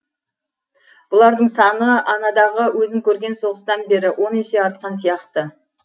бұлардың саны анадағы өзім көрген соғыстан бері он есе артқан сияқты